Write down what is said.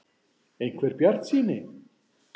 . einhver bjartsýni.